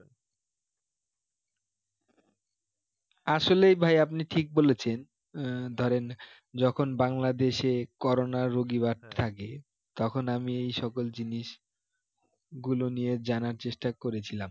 আসলে ভাই আপনি ঠিক বলেছেন আহ ধরেন যখন বাংলাদেশে corona র রুগী বাড়তে থাকে তখন আমি এই সকল জিনিস গুলো নিয়ে জানার চেষ্টা করেছিলাম